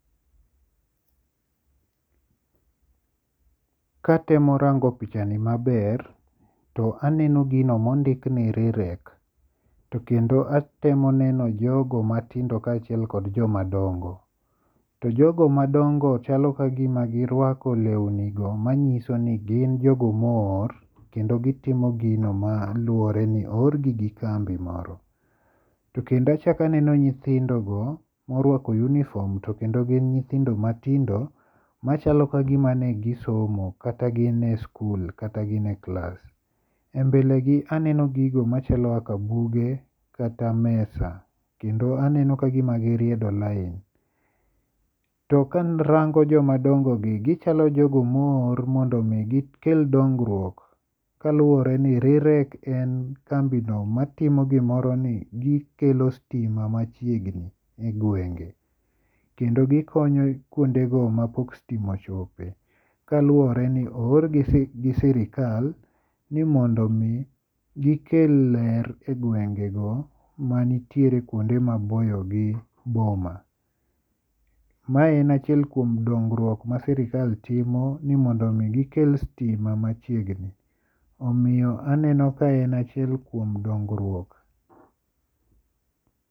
[pose] Katemo rango pichani maber to aneno gino mondik ni REREC. To kendo atemo neno jogo matindo kachiel kod jomadongo. To jogo madongo chalo kagima girwako lewni go manyiso ni gin jogo mo or kendo gitimo gino maluwore ni o or gi gi kambi moro. To kendo achak aneno nyithindo go morwako uniform to kendo gin nyithindo matindo machalo ka gima ne gisomo kata gin e skul kata gin e klas. E mbele gi aneno gigo machalo kaka buge kata mesa kendo aneno kagima giriedo lain. To karango jomadongo gi gichalo jogo mo or mondo mi gikel dongruok kaluwore ni RIREC en kambi no matimo gimoro ni gikelo sitima machiegni e gwenge. Kendo gikonyo kuonde go mapok sitima ochope. Kaluwore ni o or gi gi sirkal ni mondo mi gikel ler e gwenge go manitiere kuonde maboyo gi boma. Mae en achiel kuom dongruok ma sirkal timo ni mondo mi gikel sitima machiegni. Omiyo aneno ka en achiel kuom dongruok.